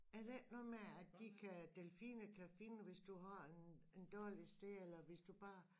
Er det ikke noget med at de kan delfiner kan finde hvis du har en en dårlig sted eller hvis du bare